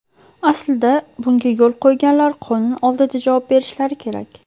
Aslida, bunga yo‘l qo‘yganlar qonun oldida javob berishlari kerak!